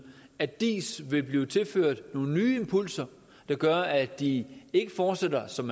at diis vil blive tilført nogle nye impulser der gør at de ikke fortsætter som